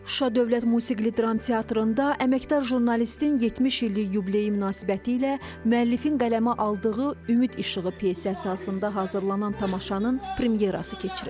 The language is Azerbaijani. Şuşa Dövlət Musiqili Dram Teatrında əməkdar jurnalistin 70 illik yubileyi münasibətilə müəllifin qələmə aldığı "Ümid İşığı" pyesi əsasında hazırlanan tamaşanın premyerası keçirildi.